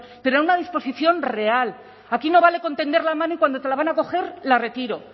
pero a una disposición real aquí no vale con tender la mano y cuando te lo van a coger la retiro